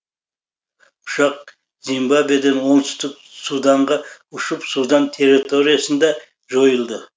ұшақ зимбабведен оңтүстік суданға ұшып судан терреториясында жойылды